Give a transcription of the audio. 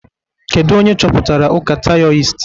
Kedu onye chọpụtara ụka taioist?